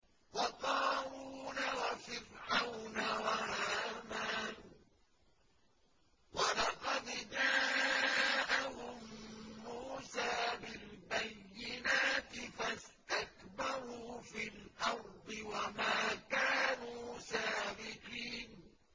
وَقَارُونَ وَفِرْعَوْنَ وَهَامَانَ ۖ وَلَقَدْ جَاءَهُم مُّوسَىٰ بِالْبَيِّنَاتِ فَاسْتَكْبَرُوا فِي الْأَرْضِ وَمَا كَانُوا سَابِقِينَ